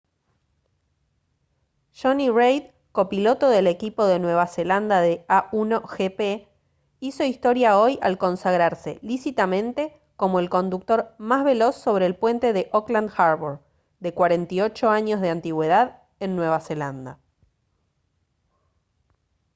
jonny reid copiloto del equipo de nueva zelanda de a1gp hizo historia hoy al consagrarse lícitamente como el conductor más veloz sobre el puente de auckland harbour de 48 años de antigüedad en nueva zelanda